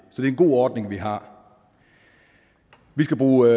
er en god ordning vi har vi skal bruge